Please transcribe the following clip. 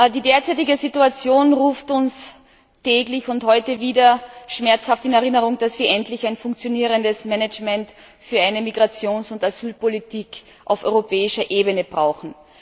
Die derzeitige Situation ruft uns täglich und heute wieder schmerzhaft in Erinnerung, dass wir endlich ein funktionierendes Management für eine Migrations und Asylpolitik auf europäischer Ebene brauchen.